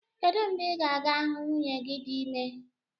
Kedụ mgbe ị ga-aga hụ nwunye gị dị ime